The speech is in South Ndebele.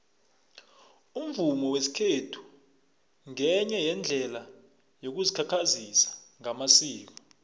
umvumo wesikhethu ngenye yeendlela yokuzikhakhazisa ngamasiko